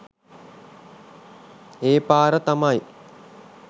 ඒපාර තමයි